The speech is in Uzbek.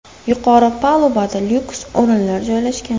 Yuqori palubada lyuks o‘rinlar joylashgan.